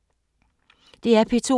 DR P2